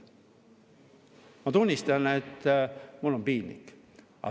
Ma tunnistan, et mul on piinlik.